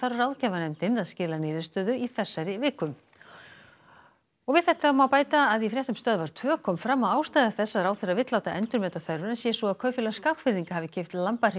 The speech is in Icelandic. ráðgjafarnefndin að skila niðurstöðu í þessari viku og við þetta er að bæta að í fréttum stöðvar tvö kom fram að ástæða þess að ráðherra vill láta endurmeta þörfina sé sú að Kaupfélag Skagfirðinga hafi keypt